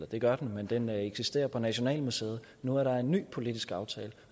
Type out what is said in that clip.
det gør den men den eksisterer på nationalmuseet nu er der en ny politisk aftale